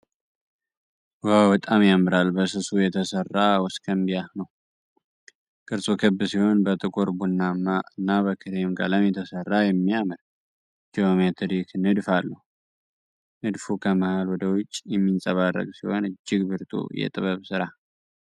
ዋው፣ በጣም ያምራል! በስሱ የተሠራ ወሰከንባይ ነው። ቅርጹ ክብ ሲሆን፣ በጥቁር ቡናማ እና በክሬም ቀለም የተሠራ የሚያምር ጂኦሜትሪክ ንድፍ አለው። ንድፉ ከመሃል ወደ ውጪ የሚንፀባረቅ ሲሆን፣ እጅግ ብርቱ የጥበብ ሥራ!